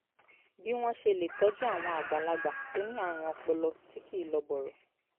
bí wọ́n ṣe lè tọ́jú àwọn àgbàlagbà tó ní àrùn ọpọlọ tí kì í lọ bọ̀rọ̀